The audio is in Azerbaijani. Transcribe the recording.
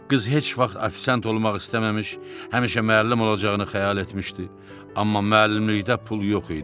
Qız heç vaxt ofisiant olmaq istəməmiş, həmişə müəllim olacağını xəyal etmişdi, amma müəllimlikdə pul yox idi.